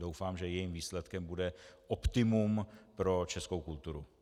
Doufám, že jejím výsledkem bude optimum pro českou kulturu.